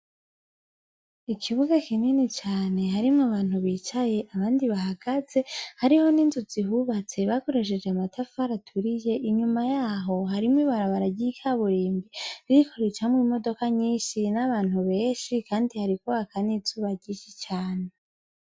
Ikibuga kinini cane harimwo abantu bicaye abandi bahagaze hariho n' inzu zihubatse bakoresheje amatafari aturiye inyuma yaho hariho ibarabara ry' ikaburimbo ririko ricamwo imodoka nyinshi n' abantu benshi kandi hariko haka n' izuba ryinshi cane.